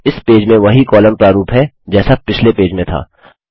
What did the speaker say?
इस पेज में वही कॉलम प्रारूप है जैसा पिछले पेज में था